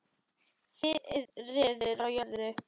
Friður á jörðu.